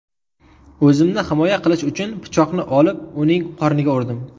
O‘zimni himoya qilish uchun pichoqni olib, uning qorniga urdim.